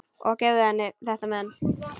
Og gefðu henni þetta men.